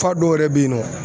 Fɔ a dɔw yɛrɛ bɛ yen nɔ